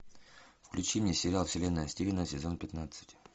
включи мне сериал вселенная стивена сезон пятнадцать